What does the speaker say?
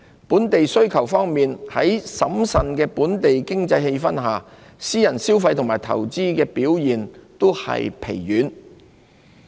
本地需求方面，在審慎的本地經濟氣氛下，私人消費及投資表現均疲軟。